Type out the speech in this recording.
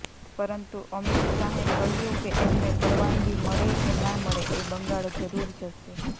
પરંતુ અમિત શાહે કહ્યું કે એમને પરવાનગી મળે કે ના મળે એ બંગાળ જરૂર જશે